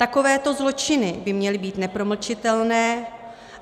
Takovéto zločiny by měly být nepromlčitelné.